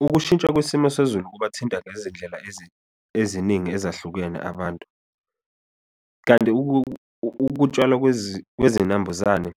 Ukushintsha kwisimo sezulu kuba thinta ngezindlela eziningi ezahlukene abantu, kanti ukutshalwa kwezinambuzane